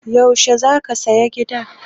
Yaushe za ka saya gidan?